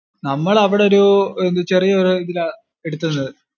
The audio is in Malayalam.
നമ്മൾ അവിടൊരു ചെറിയൊരു ഇതിലാ എടുത്തുള്ളത്.